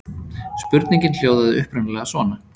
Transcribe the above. Spurningin hljóðaði upprunalega svona: